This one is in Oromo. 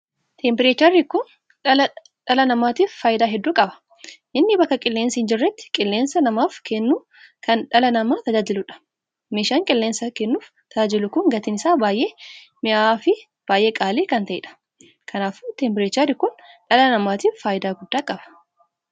Tempereecherri kun dhala dhala namaatiif faayidaa hedduu qaba. Inni bakka qilleensi hin jirretti qilleensa namaaf kennuuf kan dhala namaa tajaajiluudha. meeshaan qilleensa kennuuf tajaajilu kun gatiin isaa baay'ee minya'a fin baay'ee qaalii kan taheedha. kanaafuu tempereecherri kun dhala namaatiif faayidaa guddaa qaba.